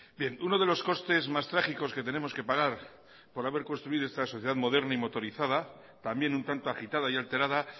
bien uno de los costes más trágicos que tenemos que pagar por haber construido esta sociedad moderna y motorizada también un tanto agitada y alterada